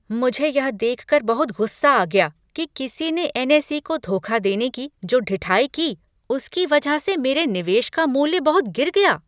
मुझे यह देख कर बहुत गुस्सा आ गया कि किसी ने एन.एस.ई. को धोखा देने की जो ढिठाई की उसकी वजह से मेरे निवेश का मूल्य बहुत गिर गया।